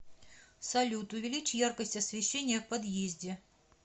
салют увеличь яркость освещения в подъезде